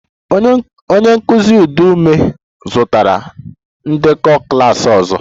Onye nkụzi ụdị m zụtara ndekọ klas ọzọ